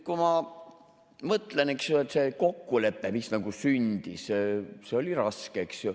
Kui ma mõtlen, siis see kokkulepe, mis sündis, oli raske.